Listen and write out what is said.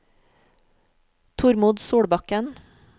Tormod Solbakken